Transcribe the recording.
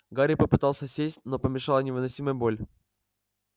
гарри попытался сесть но помешала невыносимая боль